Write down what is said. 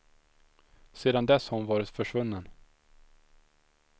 Sedan dess har hon varit försvunnen.